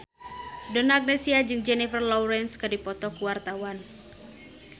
Donna Agnesia jeung Jennifer Lawrence keur dipoto ku wartawan